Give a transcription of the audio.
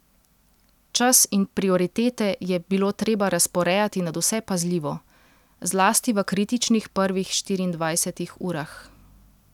Čas in prioritete je bilo treba razporejati nadvse pazljivo, zlasti v kritičnih prvih štiriindvajsetih urah.